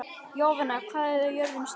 Jovina, hvað er jörðin stór?